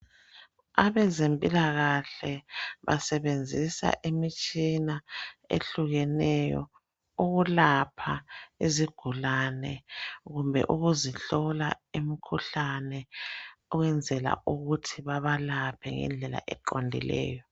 Abezempilakahle basebenzisa imitshina ehlukeneyo ukulapha izigulane kumbe ukuzihlola imikhuhlane ukwenzela ukuthi babalaphe ngendlela eqondileyo.